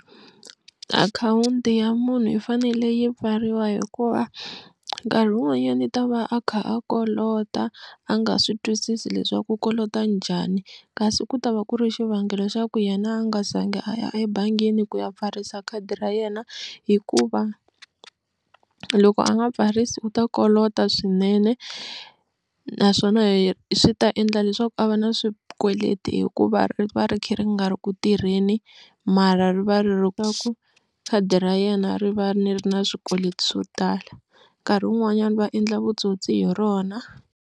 Akhawunti ya munhu yi fanele yi pfariwa hikuva nkarhi wun'wanyana i ta va a kha a kolota a nga swi twisisi leswaku kolota njhani kasi ku ta va ku ri xivangelo xa ku yena a nga zangi a ya ebangini ku ya pfarisa khadi ra yena hikuva loko a nga pfarisa u ta kolota swinene naswona hi swi ta endla leswaku a va na swikweleti hikuva ri va ri kha ri nga ri ku tirheni mara ri va ri khadi ra yena ri va ri ri na swikweleti swo tala nkarhi wun'wanyana va endla vutsotsi hi rona.